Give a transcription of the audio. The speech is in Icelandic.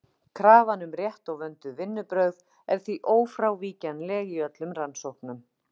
Krafan um rétt og vönduð vinnubrögð er því ófrávíkjanleg í öllum rannsóknum.